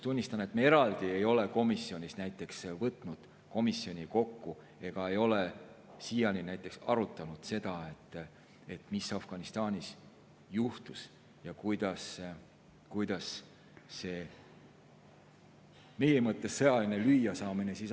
Tunnistan, et me eraldi ei ole võtnud komisjoni kokku ega ole siiani näiteks arutanud seda, mis Afganistanis juhtus ja kuidas see meie mõttes sõjaline lüüasaamine aset leidis.